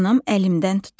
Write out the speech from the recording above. Anam əlimdən tutub.